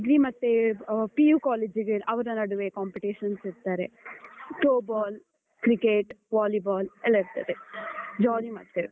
Degree ಮತ್ತೇ ಆ PU college ಅವರ ನಡುವೆ competitions ಇಡ್ತಾರೆ. Throw ball, Cricket , Volleyball ಎಲ್ಲ ಇರ್ತದೆ jolly ಮಾಡ್ತೇವೆ.